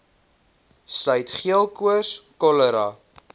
sluit geelkoors cholera